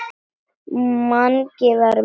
Mangi var að mjólka.